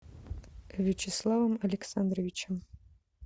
вячеславом александровичем